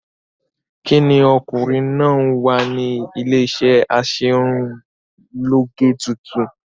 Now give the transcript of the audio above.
Kí ni ọkùnrin náà ń wá ní iléeṣé aṣerunlóge tuntun?